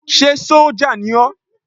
Ṣé sójà ni ó?